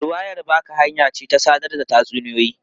Ruwayar baka hanya ce ta sadar da tatsuniyoyi.